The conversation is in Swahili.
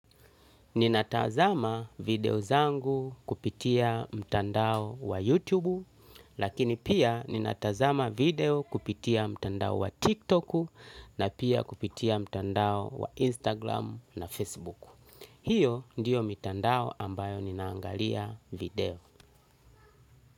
Ninatazama video zangu kupitia mtandao wa YouTube, lakini pia ninatazama video kupitia mtandao wa TikTok na pia kupitia mtandao wa Instagram na Facebook. Hiyo ndiyo mtandao ambayo ninaangalia video.